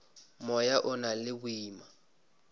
moya o na le boima